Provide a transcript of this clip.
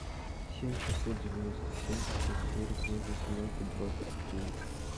семь шестьсот девяносто семь пятьсот сорок ноль восемнадцать двадцать девять